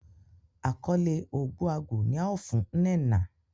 akole Ogbuagu ni ao fun Nnenna